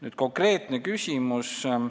Nüüd konkreetsest küsimusest.